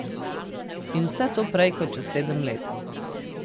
In vse to prej kot čez sedem let.